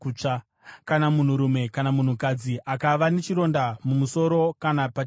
“Kana munhurume kana munhukadzi akava nechironda mumusoro kana pachirebvu,